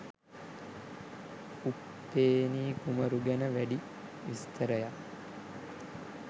උප්පේනී කුමරු ගැන වැඩි විස්තරයක්